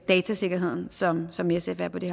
datasikkerheden som som sf er på det